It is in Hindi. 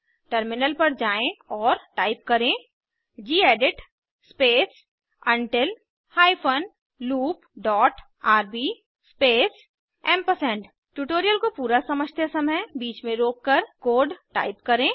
टर्मिनल पर जाएँ और टाइप करें gedit space until hyphen loop dot RB space AMP tutorial को पूरा समझते समय बीच में रोककर कोड टाइप करें